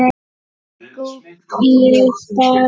Gúgglið bara.